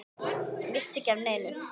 Missti ekki af neinu.